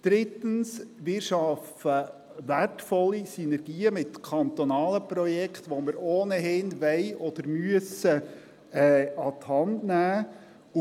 Drittens: Wir schaffen wertvolle Synergien mit kantonalen Projekten, die wir ohnehin an die Hand nehmen wollen oder müssen.